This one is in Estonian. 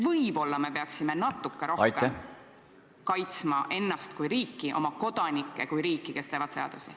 Võib-olla me peaksime natuke rohkem kaitsma ennast kui riiki, oma kodanikke, kes täidavad seadusi.